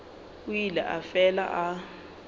o ile a fela a